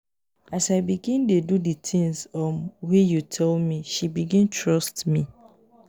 as i begin dey do di tins um wey you tell me she begin trust me.